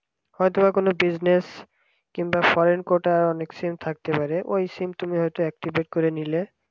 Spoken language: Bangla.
হয়তোবা কোন business কিংবা শারীরিকতার ওই sim থাকতে পারে ওই sim হয়তো তুমি activate করে নিলে